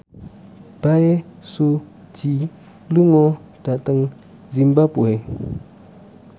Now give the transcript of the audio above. Bae Su Ji lunga dhateng zimbabwe